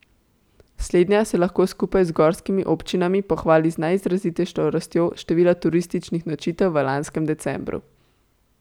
Slednja se lahko skupaj z gorskimi občinami pohvali z najizrazitejšo rastjo števila turističnih nočitev v lanskem decembru.